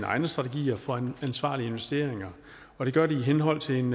egne strategier for ansvarlige investeringer og det gør de i henhold til en